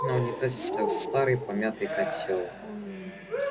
на унитазе стоял старый помятый котёл